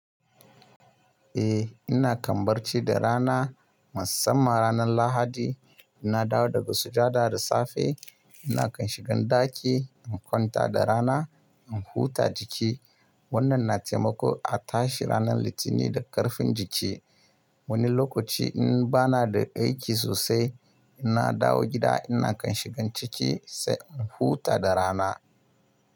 Eh ina kan barci da rana, musamman ranar Lahadi. Ina dawo daga sujada da safe, ina kan shiga ɗaki in kwanta da rana in huta jiki. Wannan na taimako a tashi ranar Litinin da ƙarfin jiki. Wani lokaci in bana da aiki sosai, ina dawo gida ina kan shiga ciki sai in huta da rana.